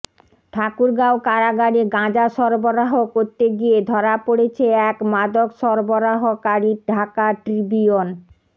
ঠাকুরগাঁও কারাগারে গাঁজা সরবরাহ করতে গিয়ে ধরা পড়েছে এক মাদক সরবরাহকারী ঢাকা ট্রিবিউন